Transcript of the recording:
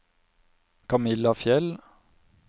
Kamilla Fjeld